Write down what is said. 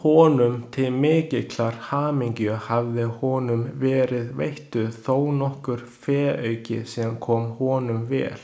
Honum til mikillar hamingju hafði honum verið veittur þónokkur féauki sem kom honum vel.